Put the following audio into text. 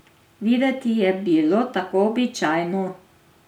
Videti je bilo tako običajno.